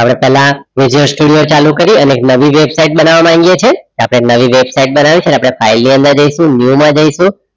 આપડે પેહલા result studio ચાલુ કરી અને એક નવી વેબસાઇટ બનાવા માંગીએ છે અપડે નવી વેબસાઇટ બનાયું છે ને અપડે ફાઇલ ની અંદર જઇસુ new માં જઇસુ